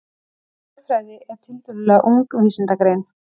Þjóðfræði er tiltölulega ung vísindagrein.